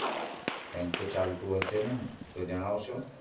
કાઈંકતો ને તો જણાવશો